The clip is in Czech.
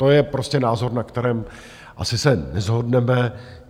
To je prostě názor, na kterém asi se neshodneme.